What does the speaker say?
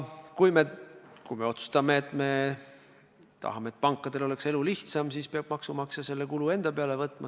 Kui me otsustame, et tahame, et pankadel oleks elu lihtsam, siis peab maksumaksja selle kulu enda kanda võtma.